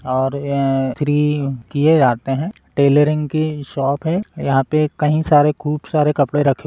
और अ इस्त्री किए जाते है टेलरिंग की शॉप है यहाँ पे कही सारे खूब सारे कपडे रखें --